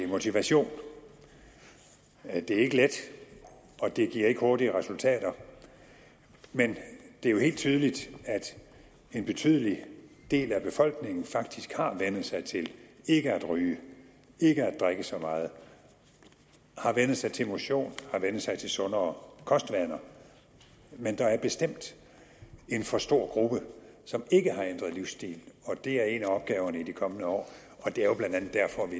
motivation det er ikke let og det giver ikke hurtige resultater men det er jo helt tydeligt at en betydelig del af befolkningen faktisk har vænnet sig til ikke at ryge ikke at drikke så meget har vænnet sig til motion har vænnet sig til sundere kostvaner men der er bestemt en for stor gruppe som ikke har ændret livsstil og det er en af opgaverne i de kommende år og det er jo blandt andet derfor vi